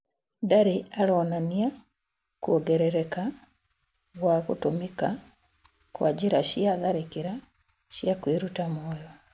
Ndari ironania kũongerereka gwa gũtũmĩka kwa njĩra cĩa tharĩkĩra cĩa kwĩrũta mũoyo